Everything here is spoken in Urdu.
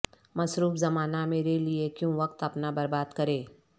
مصروف زمانہ میرے لیے کیوں وقت اپنا برباد کرے